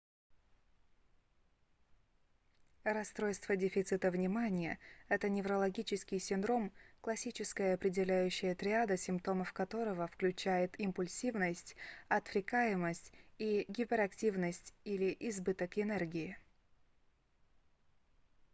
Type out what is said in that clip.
расстройство дефицита внимания это неврологический синдром классическая определяющая триада симптомов которого включает импульсивность отвлекаемость и гиперактивность или избыток энергии